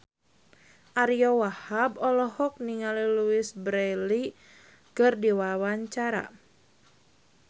Ariyo Wahab olohok ningali Louise Brealey keur diwawancara